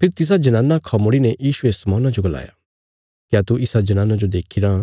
फेरी तिसा जनाना खा मुड़ीने यीशुये शमौना जो गलाया क्या तू इसा जनाना जो देखीरां